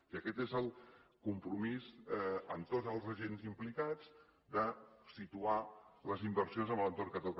i aquest és el compromís amb tots els agents implicats de situar les inversions en l’entorn que toca